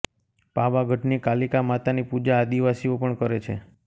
પાવાગઢની કાલિકા માતાની પૂજા આદિવાસીઓ પણ કરે છે